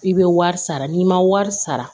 I bɛ wari sara n'i ma wari sara